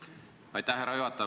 Aitäh, härra juhataja!